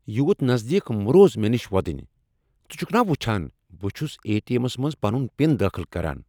یوٗت نزدیک مہٕ روز مےٚ نش وۄدنیہ ۔ژٕ چھُكھ نا وُچھان بہٕ چھُس اے ٹی ایمس منٛز پنُن پِن دٲخل كران ؟